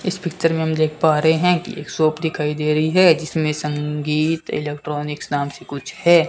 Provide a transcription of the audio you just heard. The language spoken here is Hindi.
इस पिक्चर में हम देख पा रहे हैं कि एक शॉप दिखाई दे रही है जिसमें संगीत इलेक्ट्रॉनिक्स नाम से कुछ है।